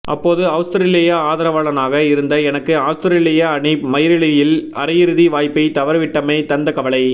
அப்போது அவுஸ்திரேலிய ஆதரவாளனாக இருந்த எனக்கு அவுஸ்திரேலிய அணி மயிரிழையில் அரையிறுதி வாய்ப்பைத் தவறவிட்டமை தந்த கவலை